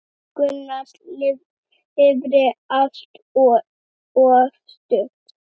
Gunnar lifði allt of stutt.